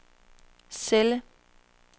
celle